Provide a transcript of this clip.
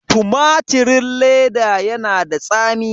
Tumatirin ledan yana da tsami.